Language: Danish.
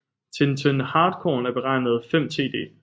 Til en Tønde Hartkorn er beregnet 5 Td